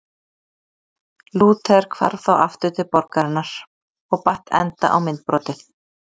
Lúther hvarf þá aftur til borgarinnar og batt enda á myndbrotið.